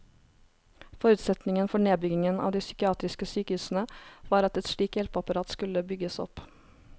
Forutsetningen for nedbyggingen av de psykiatriske sykehusene var at et slikt hjelpeapparat skulle bygges opp.